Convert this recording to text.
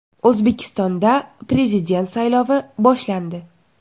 O‘zbekistonda Prezident saylovi boshlandi.